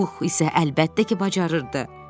Pux isə əlbəttə ki, bacarırdı.